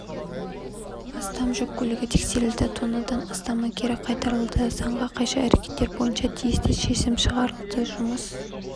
астам жүк көлігі тексерілді тоннадан астамы кері қайтарылды заңға қайшы әрекеттер бойынша тиісті шешім шығарылды жұмыс